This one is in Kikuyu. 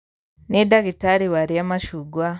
Nī ndagītarī warīa macungwa.